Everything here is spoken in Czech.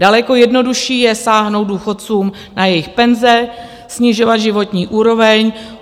Daleko jednodušší je sáhnout důchodcům na jejich penze, snižovat životní úroveň.